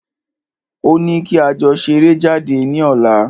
Ó ní kí a jọ ṣeré jáde ní ọ̀la.